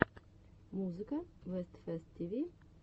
музыка вест фест ти ви